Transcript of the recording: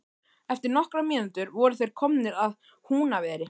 Eftir nokkrar mínútur voru þeir komnir að Húnaveri.